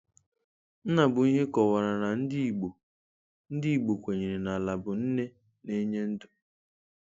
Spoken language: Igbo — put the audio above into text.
Nnabuihe kọwara na ndị Igbo ndị Igbo kwenyere na Ala bụ nne na-enye ndụ.